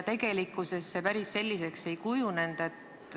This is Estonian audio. Tegelikkuses olukord päris selliseks ei kujunenud.